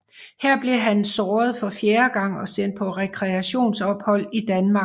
Her blev han såret for fjerde gang og sendt på rekreationsophold i Danmark